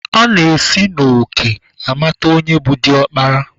A na-esi n'òkè amata onye bụ diọkpara